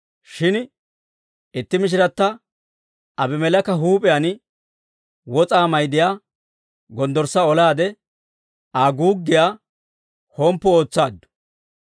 Shin itti Mishirata Abimeleeka huup'iyaan wos'aa mayddiyaa gonddorssa olaade, Aa guuggiyaa homppu ootsaaddu.